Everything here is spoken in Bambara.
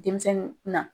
Denmisɛnnin na